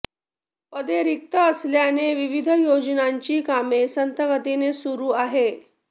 पदे रिक्त असल्याने विविध योजनांची कामे संथ गतीने सुरू आहे